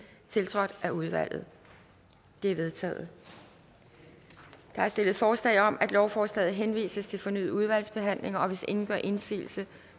tiltrådt af udvalget det er vedtaget der er stillet forslag om at lovforslaget henvises til fornyet udvalgsbehandling og hvis ingen gør indsigelse